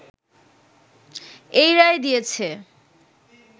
এই রায় দিয়েছে